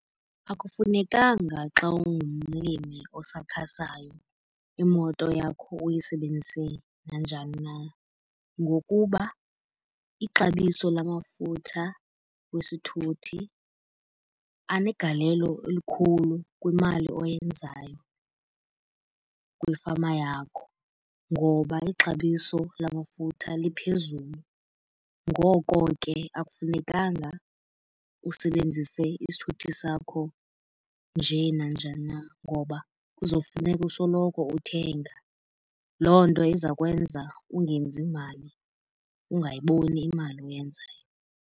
Akufunekanga xa ungumlimi osakhasayo imoto yakho uyisebenzise nanjani na. Ngokuba ixabiso lamafutha wesithuthi anegalelo elikhulu kwimali oyenzayo kwifama yakho ngoba ixabiso lamafutha liphezulu. Ngoko ke akufunekanga usebenzise isithuthi sakho nje nanjani na ngoba kuzofuneka usoloko uthenga. Loo nto iza kwenza ungenzi mali ungayiboni imali oyenzayo.